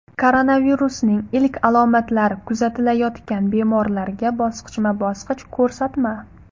Koronavirusning ilk alomatlari kuzatilayotgan bemorlarga bosqichma-bosqich ko‘rsatma.